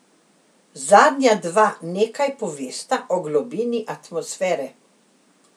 Zadnja dva nekaj povesta o globini atmosfere.